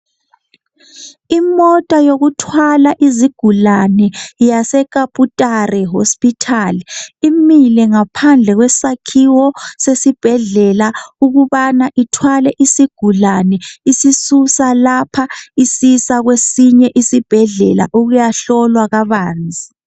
Imota yokuthwala izigulane, yaseKabutare hospital, imile ngaphandle kwesakhiwo sesibhedlela. Ukubana ithwale isigulane, isisuse lapha. Isisa kwesihye isibhedlela. Ukuyahlolwa kabanzi.